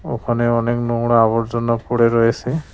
ওখানে অনেক নোংরা আবর্জনা পড়ে রয়েসে।